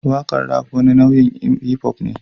Waƙar Rap wani nau'in hip-hop ne